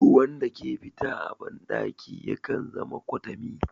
Ruwan da ke fita a ban ɗaki yakan zama kwatami